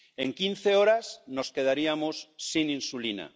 en quince horas nos quedaríamos sin insulina